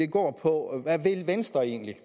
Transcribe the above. går på hvad venstre egentlig